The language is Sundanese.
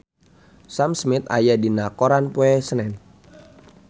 Sam Smith aya dina koran poe Senen